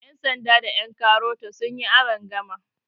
yansanda da yankarota sun yi arangama